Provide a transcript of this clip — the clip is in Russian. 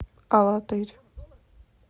алатырь